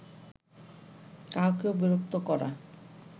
কাহাকেও বিরক্ত করা